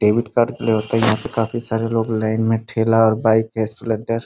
debit card लिए होते न यहाँ पे काफी सरे लोग लाइन में ठेला और बाइक स्प्लेंडर --